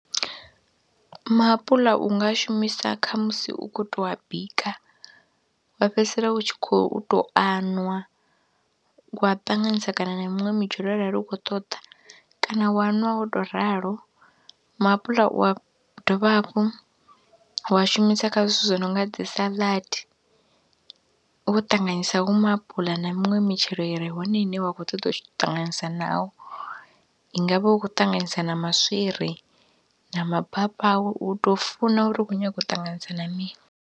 Maapuḽa u nga shumisa kha musi u khou to a bika wa fhedzisela u tshi khou tou a ṅwa wa ṱanganyisa kana na miṅwe mitshelo arali u khou ṱoḓa kana wa ṅwa o tou ralo, maapuḽa u a dovha hafhu wa shumisa kha zwithu zwi no nga dzi salad wo ṱanganyisa hu maapula na minwe mitshelo i re hone ine wa khou ṱoḓa u ṱanganyisa naho, i nga vha u khou ṱanganyisa na maswiri na mabapawe, u tou funa uri u khou nyaga u ṱanganyisa na mini.